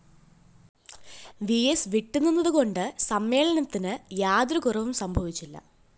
VS വിട്ടുനിന്നതുകൊണ്ട് സമ്മേളനത്തിന് യാതൊരു കുറവും സംഭവിച്ചില്ല